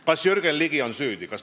Kas Jürgen Ligi on süüdi?